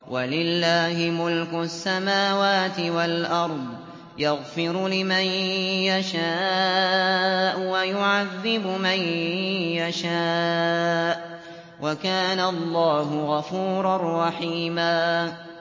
وَلِلَّهِ مُلْكُ السَّمَاوَاتِ وَالْأَرْضِ ۚ يَغْفِرُ لِمَن يَشَاءُ وَيُعَذِّبُ مَن يَشَاءُ ۚ وَكَانَ اللَّهُ غَفُورًا رَّحِيمًا